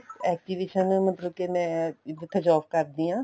exhibition ਮਤਲਬ ਕੇ ਮੈਂ ਜਿਥੇ job ਕਰਦੀ ਆ